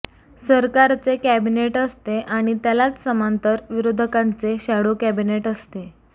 सरकारचे कॅबिनेट असते आणि त्यालाच समांतर विरोधकांचे शॅडो कॅबिनेट असते